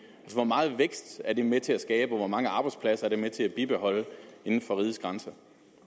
hvor meget vækst er det med til at skabe og hvor mange arbejdspladser er det med til at bibeholde inden for rigets grænser